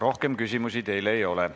Rohkem küsimusi teile ei ole.